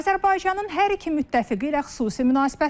Azərbaycanın hər iki müttəfiqi ilə xüsusi münasibətləri var.